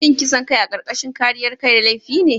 Shin kisan kai a karkashin kariyar kai laifi ne?